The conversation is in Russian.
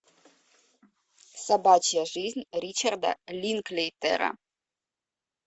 собачья жизнь ричарда линклейтера